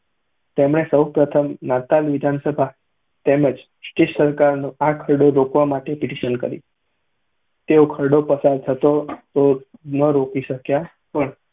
તેમણે સૌ પ્રથમ નાતાલ વિધાનસભા તેમજ બ્રિટીશ સરકારને આ ખરડો રોકવા માટે પિટિશન કરી. તેઓ ખરડો પસાર થતો તો ન રોકી શક્યા, પણ